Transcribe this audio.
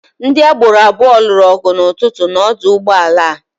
Ndị agboro abụọ lụrụ ọgụ n'ụtụtụ n'ọdụ ụgbọala a.